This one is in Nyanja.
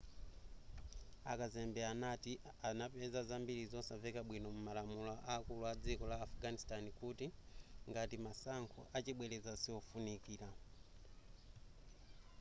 akazembe anati anapeza zambiri zosamveka bwino mu malamulo akulu a dziko la afghanistan kuti ngati masankho achibwereza siwofunikira